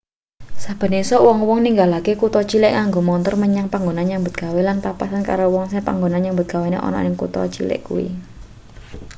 saben esuk wong-wong ninggalake kutha cilik nganggo montor menyang panggonane nyambut gawe lan papasan karo wong sing panggonan nyambut gawene ana ning kutha cilik kuwi